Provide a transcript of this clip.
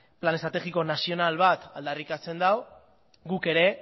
plan estrategiko nazional bat aldarrikatzen du guk ere